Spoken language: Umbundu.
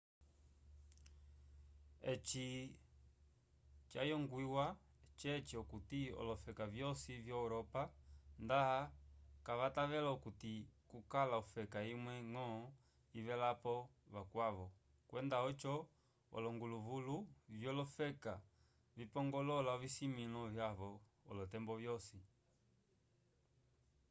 eci cayongwiwa ceci okuti olofeka vyosi vyo-europa nda kavatavela okuti kukala ofeka imwe-ñgo ivelapo vakwavo kwenda oco olonguvulu vyolofeka vipongolola ovisimĩlo vyavo olotembo vyosi